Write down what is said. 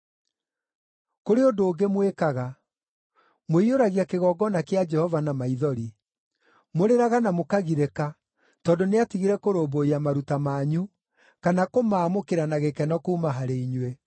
Kũrĩ ũndũ ũngĩ mwĩkaga. Mũiyũragia kĩgongona kĩa Jehova na maithori. Mũrĩraga na mũkagirĩka tondũ nĩatigire kũrũmbũiya maruta manyu, kana kũmaamũkĩra na gĩkeno kuuma harĩ inyuĩ.